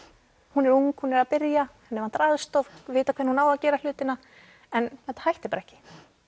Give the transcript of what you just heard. hún er ung hún er að byrja henni vantar aðstoð vita hvernig hún á að gera hlutina en þetta hætti bara ekki